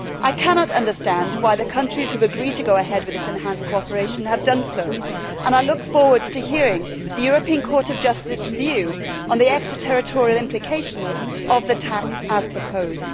I cannot understand why the countries who have agreed to go ahead with this enhanced cooperation have done so and I look forward to hearing the European Court of Justice's view on the extraterritorial implications of the tax as proposed.